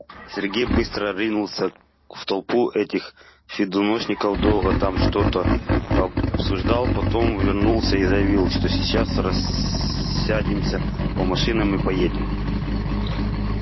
сергей быстро ринулся в толпу этих фидошников долго там что-то обсуждал потом вернулся и заявил что сейчас рассядемся по машинам и поедем